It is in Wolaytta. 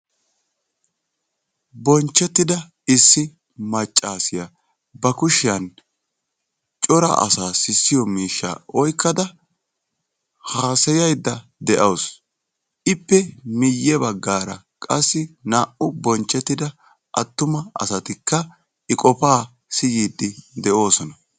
bonchchettida issi maccaassiya ba kushshiyan cora asaa sissiyo miishshaa oyqqada haasayaydda de'awusu. ippe miye bagaara qassi naa'u bonchchettida attumma asatikka i qofaa siyiidi de'oosona.